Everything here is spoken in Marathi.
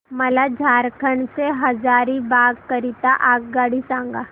मला झारखंड से हजारीबाग करीता आगगाडी सांगा